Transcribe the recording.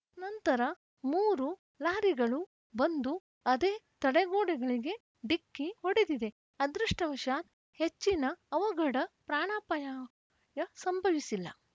ನಂತರ ಮೂರು ಲಾರಿಗಳು ಬಂದು ಅದೇ ತಡೆಗೋಡೆಗಳಿಗೆ ಡಿಕ್ಕಿ ಹೊಡೆದಿದೆ ಅದೃಷ್ಟವಶಾತ್‌ ಹೆಚ್ಚಿನ ಅವಘಡ ಪ್ರಾಣಾಪಾಯ ಯ ಸಂಭವಿಸಿಲ್ಲ